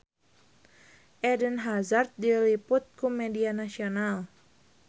Eden Hazard diliput ku media nasional